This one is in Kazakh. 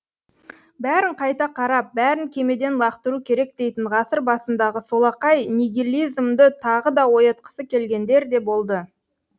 бәрін қайта қарап бәрін кемеден лақтыру керек дейтін ғасыр басындағы солақай нигилизмді тағы да оятқысы келгендер де болды